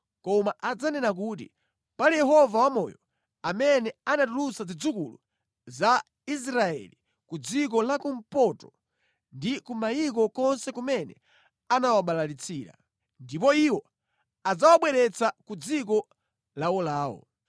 koma adzanena kuti, ‘Pali Yehova wamoyo, amene anatulutsa zidzukulu za Israeli ku dziko lakumpoto ndi ku mayiko konse kumene anawabalalitsira.’ Ndipo iwo adzawabweretsa ku dziko lawolawo.”